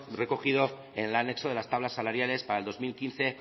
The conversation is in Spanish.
recogido en el anexo de las tablas salariales para el dos mil quince